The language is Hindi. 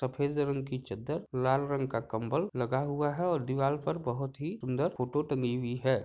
सफ़ेद रंग की चद्दर लाल रंग का कंबल लगा हुआ है और दीवाल पर बहुत ही सुंदर फोटो टंगी हुई है।